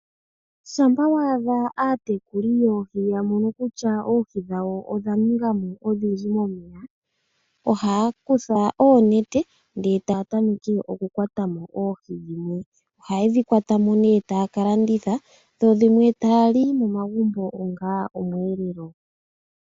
Shampa waadha aatekuli yoohi ya mono kutya oohi dhawo odha ningamo odhindji momeya ohaya kutha oonete ndele taya tameke oku kwata mo, oohi dhimwe ohayedhi kwatamo nee taya ka landitha dho dhimwe taya li momagumbo onga omweelelo.